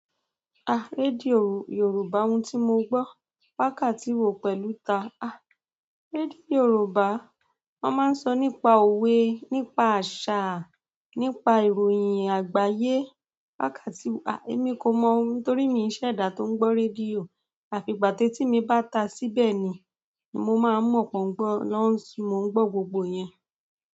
Ah! Radio Yoruba ohun tí mo gbọ́. Wákàtí wo pẹ̀lú ta? Ah! Radio Yoruba, wọ́n máa ń sọ nípa òwe, nípa àṣà, nípa ìròyìn àgbáyé. Wákàtí wo? Ah! Èmi kò mọ ohun, torí mi ò ṣẹ̀dá tó ń gbọ́ rédíò. Afi ìgbà tí etí mí ba tá síbẹ̀ ni, ni mó má mọ pọ ń gbọ gbogbo ìyẹn.